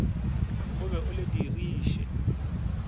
o be o le diriše